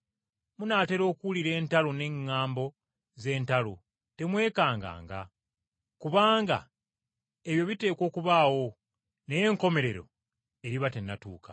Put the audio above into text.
Munaatera okuwulira entalo n’eŋŋambo z’entalo. Temwekanganga, kubanga ebyo biteekwa okubaawo, naye enkomerero eriba tennatuuka.